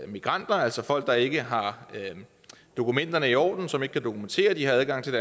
migranter altså folk der ikke har dokumenterne i orden og som ikke kan dokumentere at de har adgang til